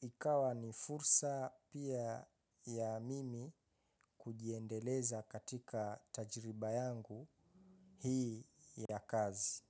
ikawa ni fursa pia ya mimi kujiendeleza katika tajiriba yangu hii ya kazi.